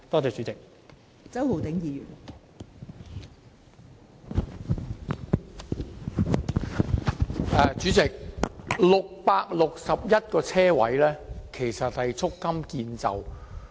代理主席 ，661 個泊車位其實是不足夠的。